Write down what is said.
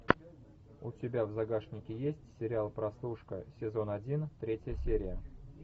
у тебя в загашнике есть сериал прослушка сезон один третья серия